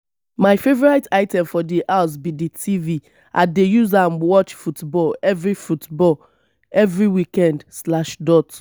my favourite item for di house be di tv i dey use am watch football every football every weekned slash dot